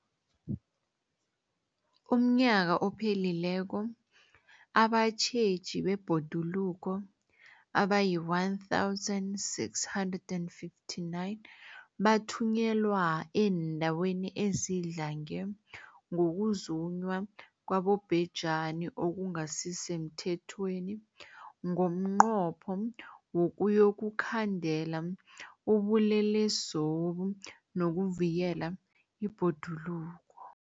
UmNnyaka ophelileko abatjheji bebhoduluko abayi-1 659 bathunyelwa eendaweni ezidlange ngokuzunywa kwabobhejani okungasi semthethweni ngomnqopho wokuyokukhandela ubulelesobu nokuvikela ibhoduluko.